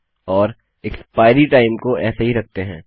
और expiry time को ऐसे ही रखते हैं